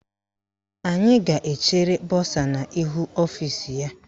Anyị ga-echere bọsa n' ihu ọfisi ya.